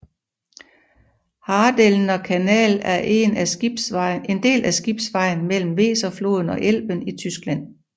Hadelner Kanal er en del af skibsgenvejen mellem Weserfloden og Elben i Tyskland